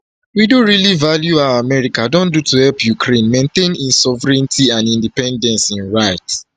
we do really value how much america don do to help ukraine maintain im sovereignty and independence im write